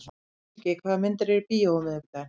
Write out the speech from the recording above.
Siggi, hvaða myndir eru í bíó á miðvikudaginn?